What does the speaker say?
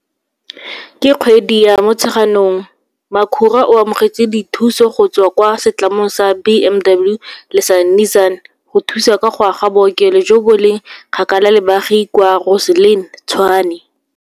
Ka kgwedi ya Motsheganong, Makhura o amogetse dithuso go tswa kwa setlamong sa BMW le sa Nissan go thusa ka go aga bookelo jo bo leng kgakala le baagi kwa Rosslyn, Tshwane.